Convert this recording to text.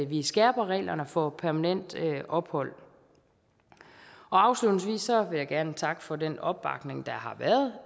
vi skærper reglerne for permanent ophold afslutningsvis vil jeg gerne takke for den opbakning der har været